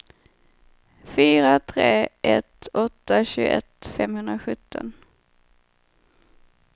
fyra tre ett åtta tjugoett femhundrasjutton